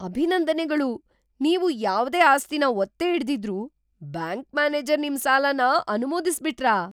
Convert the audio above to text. ಅಭಿನಂದನೆಗಳು! ನೀವು ಯಾವ್ದೇ ಆಸ್ತಿನ ಒತ್ತೆ ಇಡ್ದಿದ್ರೂ ಬ್ಯಾಂಕ್ ಮ್ಯಾನೇಜರ್ ನಿಮ್ ಸಾಲನ ಅನುಮೋದಿಸ್ಬಿಟ್ರಾ?!